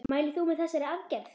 Mælir þú með þessari aðgerð?